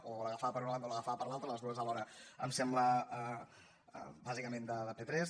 o l’agafava per una banda o l’agafava per l’altra les dues alhora em sembla bàsicament de p3